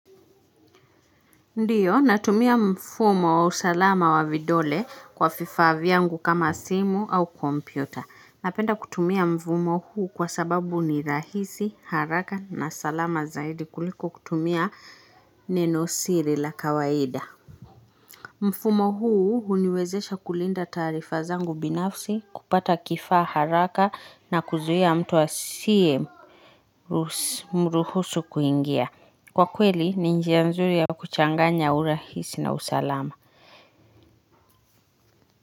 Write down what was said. Ndiyo, natumia mfumo wa usalama wa vidole kwa vifaa vyangu kama simu au kompyuta. Napenda kutumia mfumo huu kwa sababu ni rahisi, haraka na salama zaidi kuliko kutumia nenosiri la kawaida. Mfumo huu huniwezesha kulinda taarifa zangu binafsi kupata kifaa haraka na kuzuia mtu asiye mruhusu kuingia. Kwa kweli ni njia nzuri ya kuchanganya urahisi na usalama.